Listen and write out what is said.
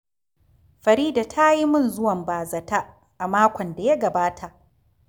Farida ta yi min zuwan ba za ta a makon da ya gabata